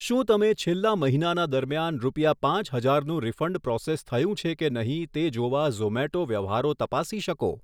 શું તમે છેલ્લા મહિનાના દરમિયાન રૂપિયા પાંચ હજારનું રિફંડ પ્રૉસેસ થયું છે કે નહીં તે જોવા ઝોમેટો વ્યવહારો તપાસી શકો